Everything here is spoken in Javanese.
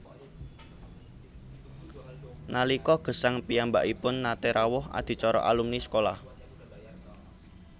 Nalika gesang piyambakipun naté rawuh adicara alumni sekolah